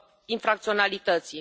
infracționalității.